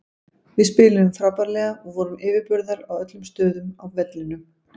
Við spiluðum frábærlega og vorum yfirburðar á öllum stöðum á vellinum.